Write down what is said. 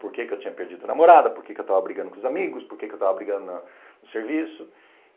Por que é que eu tinha perdido a namorada, por que é que eu estava brigando com os amigos, por que é que eu estava brigando na no serviço.